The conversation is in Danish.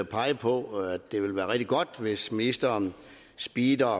pege på at det ville være rigtig godt hvis ministeren speedede